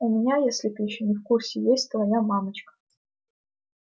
у меня если ты ещё не в курсе есть твоя мамочка